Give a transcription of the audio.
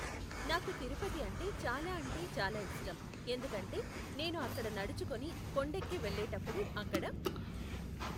నాకు తిరుపతి అంటే చాలా అంటే చాలా ఇష్టం ఎందుకు అంటే నేను అక్కడ నడుచుకొని కొండఎక్కి వెళ్ళేటప్పుడు అక్కడ